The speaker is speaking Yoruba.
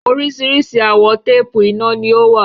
Oríṣìíríṣìí àwọ̀ téèpù iná ni ó wà.